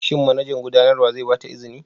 Shin manajan gudanarwa zai ba ta izini?